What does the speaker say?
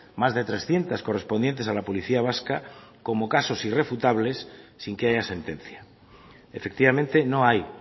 más de trescientos correspondientes a la policía vasca como casos irrefutables sin que haya sentencia efectivamente no hay